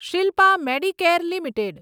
Shilpa Medicare limited